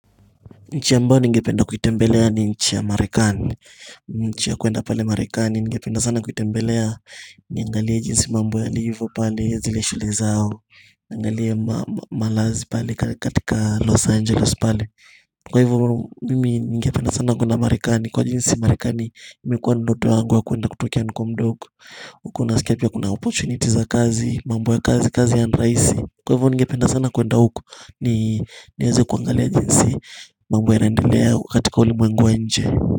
Nchi ambayo ningependa kuitembelea ni nchi ya marekani nchi ya kuenda pale marekani ningependa sana kuitembelea niangalie jinsi mambo yalivyo pale zile shule zao Angalia malazi pale katika Los Angeles pale. Kwa hivyo mimi ningependa sana kuenda marekani kwa jinsi marekani imekuwa ndoto yangu wa kuenda kutokea nikiwa mdogo. Huko naskia pia kuna opportunity za kazi, mambo ya kazi, kazi ya ni rahisi Kwa hivyo ningependa sana kuenda huko niweze kuangalia jinsi mambo yanaendelea katika ulimwengu wa nje.